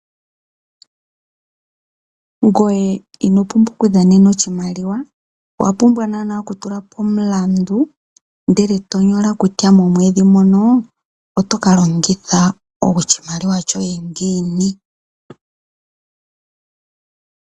Ngoye ino pumbwa , owapumbwa naanaa okutula po omulandu , eto nyola kutya momwedhi ngono otokeshi longitha ngiini.